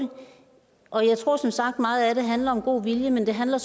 og jeg tror som sagt at meget af det handler om god vilje men det handler